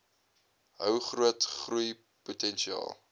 hou groot groeipotensiaal